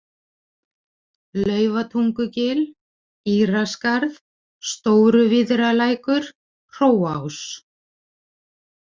Laufatungugil, Íraskarð, Stóruvíðralækur, Hróás